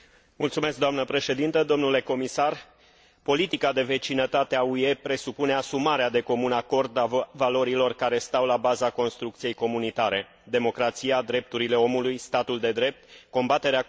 Politica de vecinătate a UE presupune asumarea de comun acord a valorilor care stau la baza construcției comunitare democrația, drepturile omului, statul de drept, combaterea corupției, economia de piață și buna guvernanță.